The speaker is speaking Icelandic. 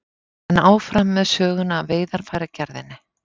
En áfram með söguna af veiðarfæragerðinni.